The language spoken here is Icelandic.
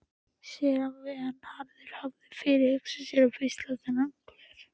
Séra Vernharður hafði fyrirhugað að beisla þennan hver.